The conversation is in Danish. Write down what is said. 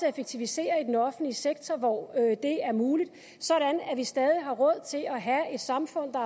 at effektivisere i den offentlige sektor hvor det er muligt sådan at vi stadig har råd til at have et samfund der